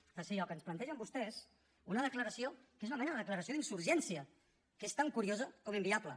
en tercer lloc ens plantegen vostès una declaració que és una mena de declaració d’insurgència que és tan curiosa com inviable